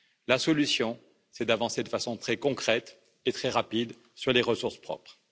La solution c'est d'avancer de façon très concrète et très rapide sur les ressources propres.